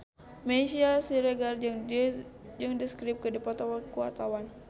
Meisya Siregar jeung The Script keur dipoto ku wartawan